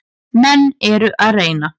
Menn eru að reyna.